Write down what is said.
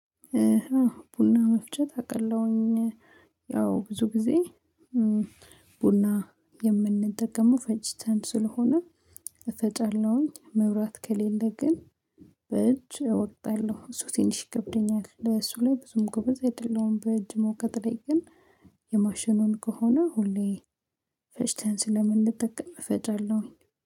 ቡና መፍጨት አቃለሁኝ ያው ብዙ ጊዜ ቡና የምንጠቀመው ፈጭተን ስለሆነ እፈጫለሁኝ መብራት ከሌለ ግን በእጅ እወቅጥለሁ እሱ ትንሽ ይከብደኛል ለሱ ላይ ብዙም ጎበዝ አይደለም በእጅ መውቀጥ ላይ ግን የማሽኑን ከሆነ ሁሌ ፈጭተን ስለምንጠቅም እፈጫለሁኝ።